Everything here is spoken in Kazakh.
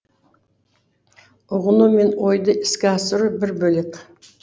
ұғыну мен ойды іске асыру бір бөлек